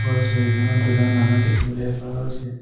ওপৰৰ ছবিখনত দুজন মানুহ দেখিবলৈ পোৱা গৈছে।